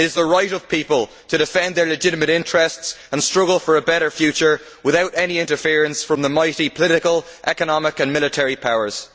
It is the right of people to defend their legitimate interests and struggle for a better future without any interference from the mighty political, economic and military powers.